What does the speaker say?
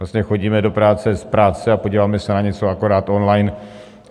Vlastně chodím do práce, z práce a podíváme se na něco akorát online.